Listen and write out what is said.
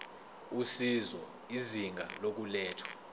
usizo izinga lokulethwa